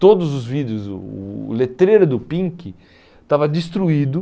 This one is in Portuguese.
Todos os vidros, o o o letreiro do Pink estava destruído.